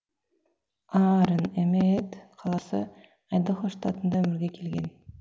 аарон эмеет қаласы айдахо штатында өмірге келген